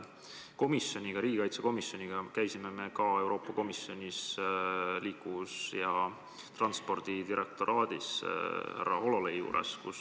Riigikaitsekomisjon käis Euroopa Komisjoni liikuvuse ja transpordi peadirektoraadis härra Hololei juures.